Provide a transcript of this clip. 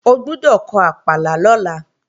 O gbọ́dọ̀ kọ àpàlà lọ́la